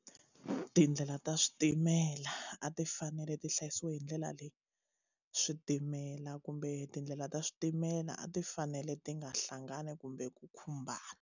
Tindlela ta switimela a ti fanele ti hlayisiwa hi ndlela leyi switimela kumbe tindlela ta switimela a ti fanele ti nga hlangani kumbe ku khumbana.